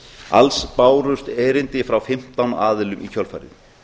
alls bárust erindi frá fimmtán aðilum í kjölfarið